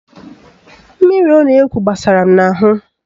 Mmiri ọ na-egwu gbasara m n'ahụ